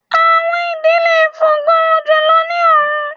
Awọn idì le fo ga julọ ni ọrun